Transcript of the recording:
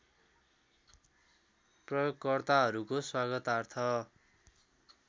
प्रयोगकर्ताहरुको स्वागतार्थ